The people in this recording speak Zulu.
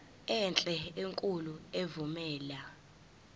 enhle enkulu evumela